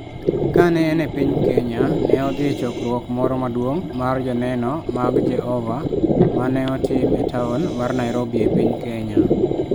Kane en e piny Kenya, ne odhi e chokruok moro maduong ' mar Joneno mag Jehova ma ne otim e taon mar Nairobi e piny Kenya.